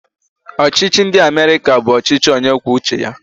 Ọchịchị ndị Amerịka bụ ọchịchị onyekwuouche ya